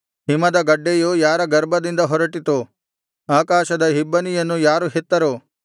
ಹಿಮದ ಗಡ್ಡೆಯು ಯಾರ ಗರ್ಭದಿಂದ ಹೊರಟಿತು ಆಕಾಶದ ಇಬ್ಬನಿಯನ್ನು ಯಾರು ಹೆತ್ತರು